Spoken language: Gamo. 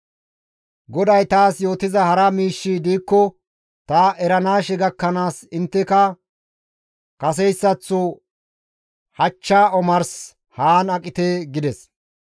GODAY taas yootiza hara miishshi diikko ta eranaashe gakkanaas intteka kaseytaththo hachcha omars haan aqite» gides.